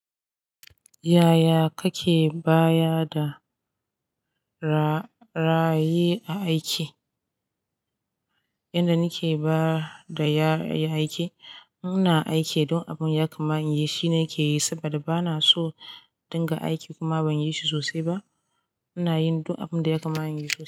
Yaya kake baya da ra-raye aiki? Inda nike bada ya-yayi aiki, muna aiki duk abun ya kama in yi shine nike yi saboda bana so dinga aiki kuma banyi shi sosai ba. Ina yin duk abun da ya kama in yi su.